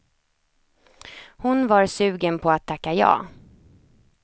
Hon var sugen på att tacka ja.